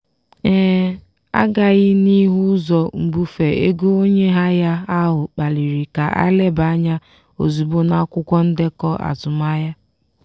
agaghị n'ihu ụzọ mbufe ego onye ahịa ahụ kpaliri ka a leba anya ozugbo n'akwụkwọ ndekọ azụmahịa.